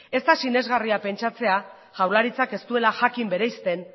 ez da sinesgarria pentsatzea jaurlaritzak ez duela jakin bereizten